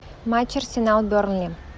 матч арсенал бернли